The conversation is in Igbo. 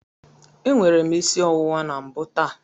Enwere m isi ọwụwa na mbụ taa.